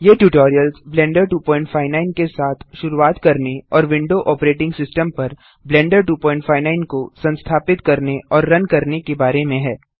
ये tutorials Blender 259 के साथ शुरूआत करने और विंडो ऑपरेटिंग सिस्टम पर ब्लेंडर 259 को संस्थापित करने और रन करने के बारे में हैं